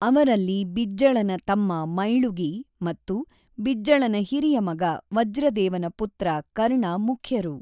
ಅವರಲ್ಲಿ ಬಿಜ್ಜಳನ ತಮ್ಮ ಮೈಳುಗಿ ಮತ್ತು ಬಿಜ್ಜಳನ ಹಿರಿಯ ಮಗ ವಜ್ರದೇವನ ಪುತ್ರ ಕರ್ಣ ಮುಖ್ಯರು.